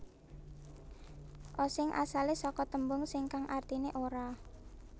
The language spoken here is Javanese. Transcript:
Osing asale saka tembung sing kang artine ora